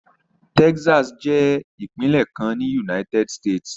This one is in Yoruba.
Texas jẹ́ ìpínlẹ̀ kan ní United States.